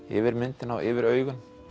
yfir myndina og yfir augun